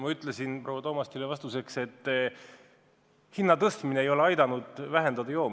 Ma ütlesin proua Toomastile, et hinna tõstmine ei ole aidanud joomist vähendada.